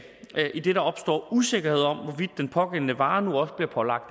idet der opstår usikkerhed om hvorvidt den pågældende vare nu også bliver pålagt